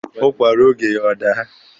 Ụkwa ruo oge ya, ọ daa.